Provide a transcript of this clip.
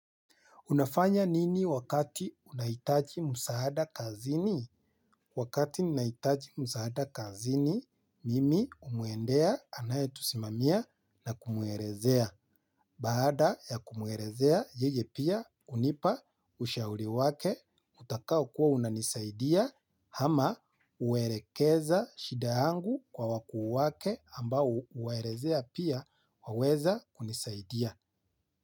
Unafanya nini wakati unaitaji musahada kazini? Wakati ninaitaji musahada kazini, mimi umuendea anaye tusimamia na kumuerezea. Baada ya kumuerezea, yeye pia unipa, ushauri wake, utakao kuwa unanisaidia, hama uerekeza shidaangu kwa wakuu wake ambao uaerezea pia waweza kunisaidia.